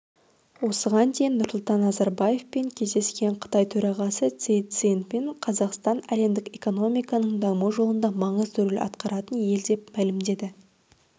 осыған дейін нұрсұлтан назарбаевпен кездескен қытай төрағасы си цзиньпин қазақстан әлемдік экономиканың даму жолында маңызды рөл атқаратын ел деп мәлімдеді